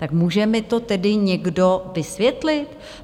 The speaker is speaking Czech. Tak může mi to tedy někdo vysvětlit?